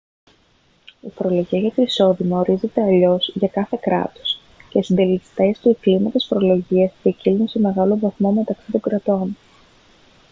η φορολογία για το εισόδημα ορίζεται αλλιώς για κάθε κράτος και οι συντελεστές και κλίμακες φορολογίας ποικίλουν σε μεγάλο βαθμό μεταξύ των κρατών